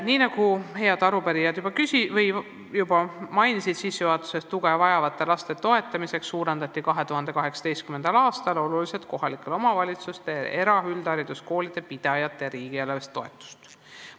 " Nii nagu head arupärijad sissejuhatuses mainisid, tuge vajavate laste toetamiseks suurendati 2018. aastal oluliselt kohalike omavalitsuste eraüldhariduskoolide pidajatele riigieelarvelist toetust.